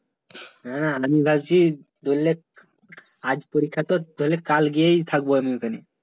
না না আমি ভাবছি ধরলেক আজ পরীক্ষা তো ধরলে কালকেই থাকব ঐ খানে